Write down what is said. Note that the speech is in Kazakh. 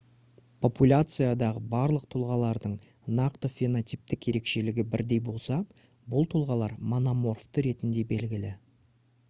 популяциядағы барлық тұлғалардың нақты фенотиптік ерекшелігі бірдей болса бұл тұлғалар мономорфты ретінде белгілі